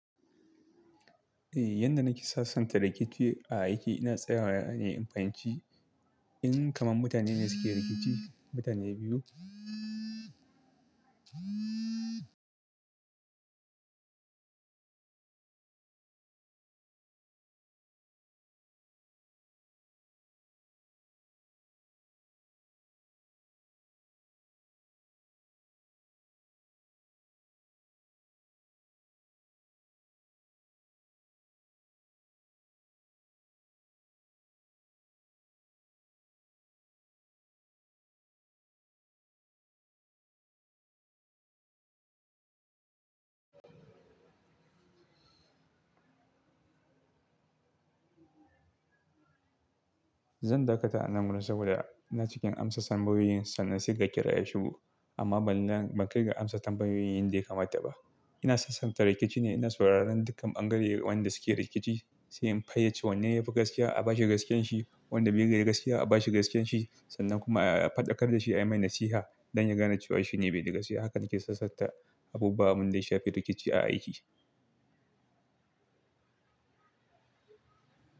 Eh, yadda nake sassanta rikici a aiki ina tsayawane in fahimci. In kaman mutanene suke rikici, mutane biyu. Zan dakata anan gurin saboda ina cikin amsa tambayoyin sannan saiga kira ya shugo amma ban ban-- bankai ga amsa tambayoyin yanda yakamata ba. Ina sassanta rikici ne, ina sauraron dukkan bangare wanda suke rikici sai in fayyace wanne yafi gaskiya a bashi gaskiyarshi, wanda bai da gaskiya a bashi gaskiyarshi sannan kuma a faɗakar dashi ayi mai nasiha don yagane cewa shine baida gaskiya. Haka nake sasanta abubuwa wanda yashafi rikici a aiki.